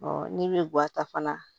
n'i bɛ guwan ta fana